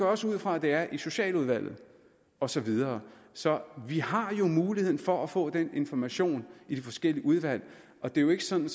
også ud fra at det er i socialudvalget og så videre så vi har jo muligheden for at få den information i de forskellige udvalg og det er jo ikke sådan